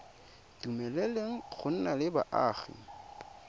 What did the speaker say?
dumeleleng go nna le boagi